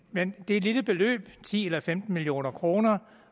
men det er et lille beløb ti eller femten million kroner